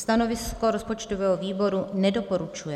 Stanovisko rozpočtového výboru - nedoporučuje.